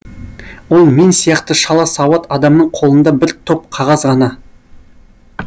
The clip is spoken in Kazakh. ол мен сияқты шала сауат адамның қолында бір топ қағаз ғана